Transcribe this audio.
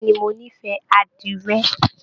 Bẹ̀ẹ́ni, mo n'ifẹ àdirẹ.